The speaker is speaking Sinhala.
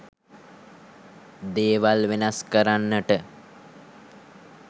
දේවල් වෙනස් කරන්නට